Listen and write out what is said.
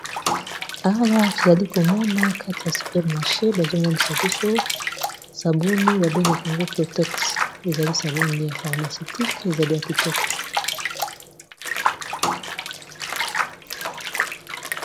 Awa tozali komona kati ya supermache bazomonisa biso sabuni babengaka yango protexe ezali sabuni ya pharmacetique ezali ya kitoko.